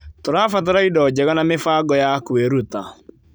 Tũrabatara indo njega na mĩbango ya kwĩruta.